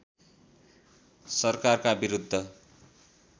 सरकारका विरुद्ध